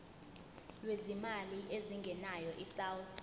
lwezimali ezingenayo isouth